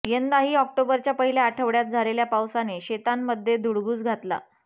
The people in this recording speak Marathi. यंदाही ऑक्टोबरच्या पहिल्या आठवड्यात झालेल्या पावसाने शेतांमध्ये धुडगूस घातला